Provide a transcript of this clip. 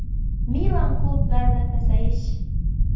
Milan klublarida pasayish.